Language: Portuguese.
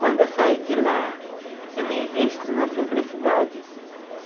Quando eu saio de lá, eu me visto na simplicidade.